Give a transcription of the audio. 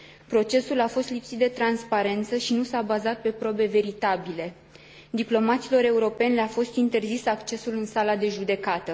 Procesul a fost lipsit de transparență și nu s a bazat pe probe veritabile. Diplomaților europeni le a fost interzis accesul în sala de judecată.